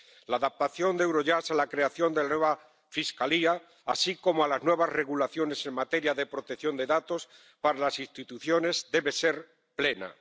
La adaptación de Eurojust a la creación de la nueva Fiscalía, así como a los nuevos reglamentos en materia de protección de datos para las instituciones debe ser plena.